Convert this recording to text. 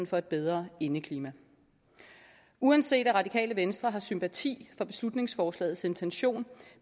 for et bedre indeklima uanset at radikale venstre har sympati for beslutningsforslagets intention